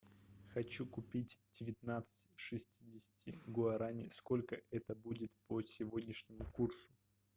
хочу купить девятнадцать шестидесяти гуарани сколько это будет по сегодняшнему курсу